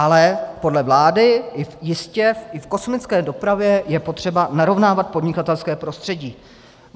Ale podle vlády jistě i v kosmické dopravě je potřeba narovnávat podnikatelské prostředí.